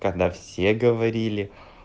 когда все говорили